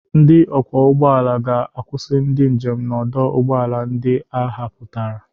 Ndị ọkwọ ụgbọ ala ga-akwusi ndị njem n'ọdụ ụgbọ ala ndị a họpụtara.